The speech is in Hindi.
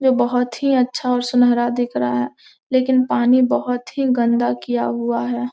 वो बहोत ही अच्छा और सुनहरा दिख रहा हैं लेकिन पानी बहोत ही गंदा किया हुआ हैं।